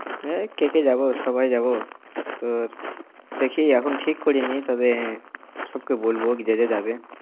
এই কে কে যাব, সবাই যাব। তোর দেখি এখনও ঠিক করিনি তবে সবকে বলব, যে যে যাবে।